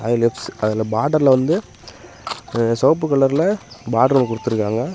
இங்க ஃப்ஸ் அதல் பார்டர்ல வந்து செவப்பு கலர்ல பார்டரு குடுத்துருக்காங்க.